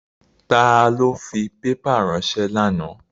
Ta ló fi pépà ránsẹ́ lánàá?